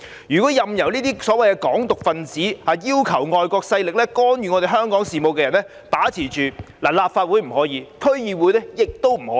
議會不應任由這些"港獨"分子或要求外國勢力干預香港事務的人把持。立法會不可以，區議會亦不可以。